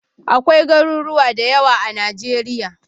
Akwai Garuruwa da yawa a Najeriya.